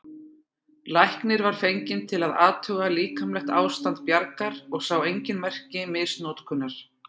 Læknir var fenginn til að athuga líkamlegt ástand Bjargar og sá engin merki misnotkunar.